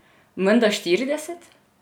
Menda štirideset?